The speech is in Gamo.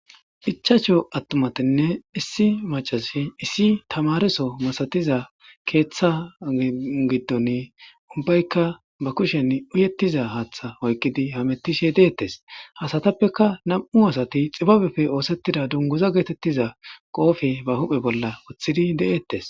Ichacsho attumatinne issi macazsi issi tamareso masatiza keeththa giddon ubbaykka ba kushen uyettiza haatha hoykqidi hametishe deettes hasatappeka nam'u asati xibabeppe oosettida dunguza geetettiza qoofe ba huphe bolla oththidi de'eettes.